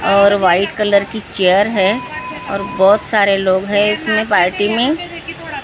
और white colour की chair है और बहुत सारे लोग है इसमें पार्टी में --